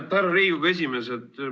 Härra Riigikogu esimees!